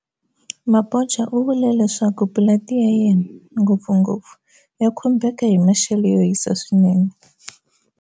Mabotja u vule leswaku pulanti ya yena, ngopfungo pfu, ya khumbeka hi maxelo yo hisa swinene.